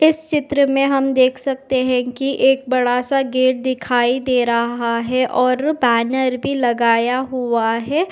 इस चित्र में हम देख सकते हैं कि एक बड़ा सा गेट दिखाई दे रहा है और बैनर भी लगाया हुआ है।